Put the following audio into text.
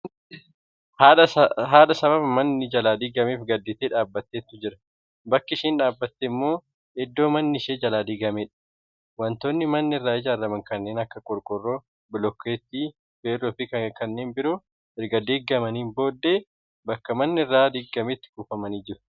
Haadha sababa manni jalaa diigameef gadditee dhaabattetu jira. Bakki isheen dhaabatte immoo iddoo manni ishee jalaa diigameedha. Wantoonni manni irraa ijaaraman kanneen akka qorqorroo, blookeetii, feerroo fi kanneen biroo erga digamanii booddee bakka manni irraa diigametti kufanii argamu.